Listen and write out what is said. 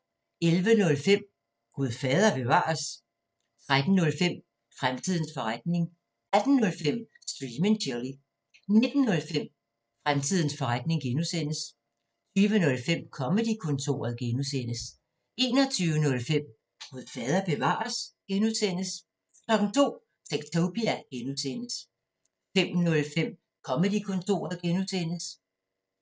11:05: Gud fader bevares? 13:05: Fremtidens forretning 18:05: Stream & Chill 19:05: Fremtidens forretning (G) 20:05: Comedy-kontoret (G) 21:05: Gud fader bevares? (G) 02:00: Techtopia (G) 05:05: Comedy-kontoret (G)